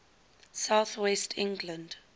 south west england